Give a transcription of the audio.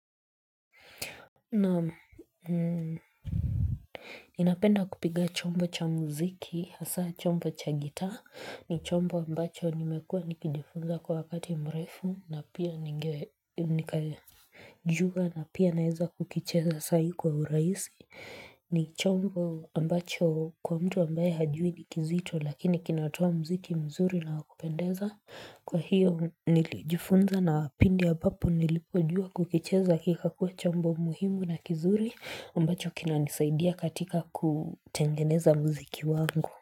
Naam. Ninapenda kupiga chombo cha muziki hasa chombo cha gitaa ni chombo ambacho nimekuwa nikijifunza kwa wakati mrefu na pia ngeJua na pia naweza kukicheza saa hii kwa urahisi ni chombo ambacho kwa mtu ambaye hajui ni kizito lakini kinatoa muziki mzuri na wakupendeza. Kwa hiyo nilijifunza na pindi ambapo nilipo jua kukicheza kikakuwa chombo muhimu na kizuri ambacho kinanisaidia katika kutengeneza muziki wangu.